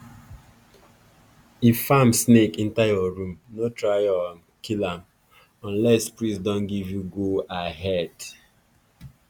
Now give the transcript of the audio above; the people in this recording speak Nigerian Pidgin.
if farm snake enter your room no try um kill am unless priest don give you go-ahead.